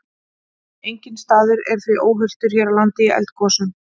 Enginn staður er því óhultur hér á landi í eldgosum.